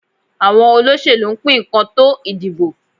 Àwọn olóṣẹ̀lú ń pín nǹkan tó ìdìbò.